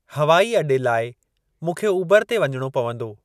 हवाई अॾे लाइ मूंखे उबरु ते वञणो पवंदो।